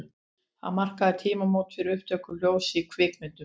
Það markaði tímamót fyrir upptöku hljóðs í kvikmyndum.